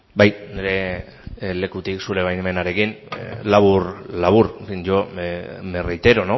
bai nire lekutik zure baimenarekin labur labur yo me reitero